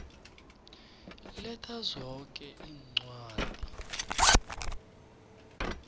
letha zoke iincwadi